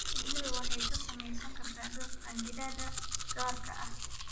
Shinnidu waxay ka samaysan kartaa dhux qanjidhada gaarka ah.